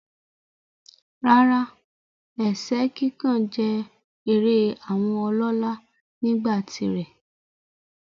Rárá, ẹ̀sẹ́ kíkàn jẹ́ eré àwọn ọlọ́lá nígbà tirẹ̀.